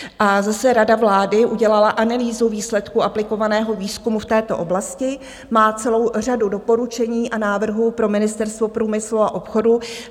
A zase, Rada vlády udělala analýzu výsledků aplikovaného výzkumu v této oblasti, má celou řadu doporučení a návrhů pro Ministerstvo průmyslu a obchodu.